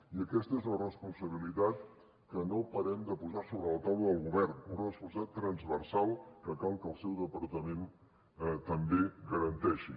i aquesta és una responsabilitat que no parem de posar sobre la taula del govern una responsabilitat transversal que cal que el seu departament també garanteixi